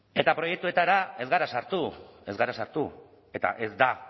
eta proiektuetara ez gara sartu ez gara sartu eta ez da